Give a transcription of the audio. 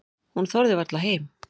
Hún þorði varla heim.